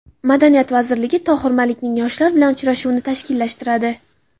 Madaniyat vazirligi Tohir Malikning yoshlar bilan uchrashuvini tashkillashtiradi.